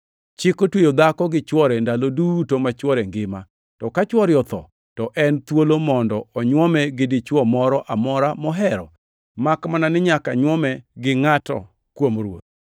Chik otweyo dhako gi chwore ndalo duto ma chwore ngima. To ka chwore otho, to en thuolo mondo onywome gi dichwo moro amora mohero, makmana ni nyaka nyuome gi ngʼat kuom Ruoth.